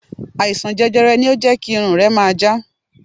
Àìsàn jẹjẹrẹ ni ó jẹ́ kí irun rẹ máa já.